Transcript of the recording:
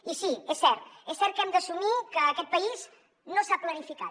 i sí és cert és cert que hem d’assumir que aquest país no s’ha planificat